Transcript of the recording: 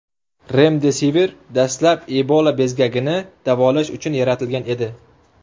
Remdesivir dastlab Ebola bezgagini davolash uchun yaratilgan edi .